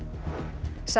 sex